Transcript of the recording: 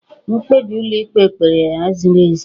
Mkpebi ụlọikpe kpere ya ziri ezi.